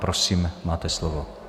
Prosím, máte slovo.